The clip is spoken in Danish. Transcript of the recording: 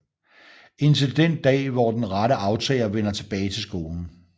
Indtil den da hvor den rette aftager vender tilbage til skolen